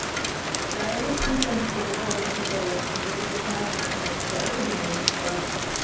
та риск не в том что готова не готова рискнуть я просто знаю например что это генетика